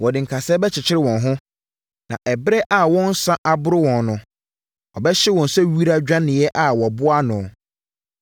Wɔde nkasɛɛ bɛkyekyere wɔn ho, na ɛberɛ a wɔn nsa aboro wɔn no wɔbɛhye wɔn sɛ wira dwaneeɛ a wɔaboa ano.